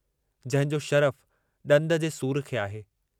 जंहिंजो शरफ़ु ॾंद जे सूर खे आहे।